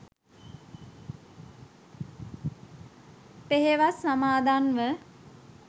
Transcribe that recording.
පෙහෙවස් සමාදන්ව